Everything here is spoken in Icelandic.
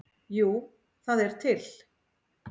Jú, það er til.